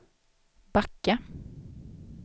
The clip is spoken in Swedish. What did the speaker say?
backa